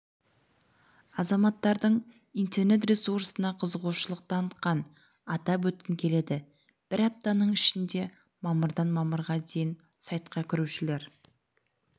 азаматтардың интернет ресурсына қызығушылық танытқанын атап өткім келеді бір аптаның ішінде мамырдан мамырға дейін сайтқа кірушілер